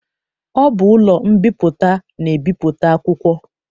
Ọ bụ ụlọ mbipụta na-ebipụta akwụkwọ.